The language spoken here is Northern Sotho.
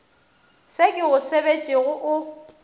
se ke go sebetšego o